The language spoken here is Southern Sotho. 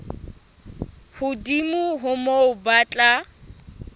hodimo ho moo ba tla